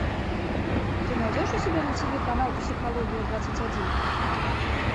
ты найдешь у себя на тиви канал психология двадцать один